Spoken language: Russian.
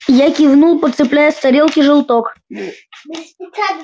я кивнул подцепляя с тарелки желток